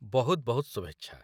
ବହୁତ ବହୁତ ଶୁଭେଚ୍ଛା!